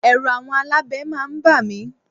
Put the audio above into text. Ẹ̀rù àwọn alábẹ máa ń ba mi.